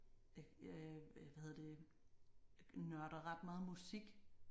Øh hvad hedder det nørder ret meget musik